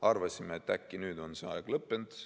Arvasime, et äkki on nüüd see aeg lõppenud.